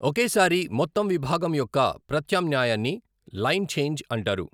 ఒకేసారి మొత్తం విభాగం యొక్క ప్రత్యామ్నాయాన్ని లైన్ ఛేంజ్ అంటారు.